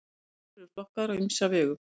jöklar eru flokkaðir á ýmsa vegu